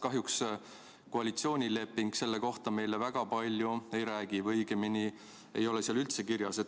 Kahjuks koalitsioonileping selle kohta meile väga palju ei räägi või õigemini ei ole seal seda üldse kirjas.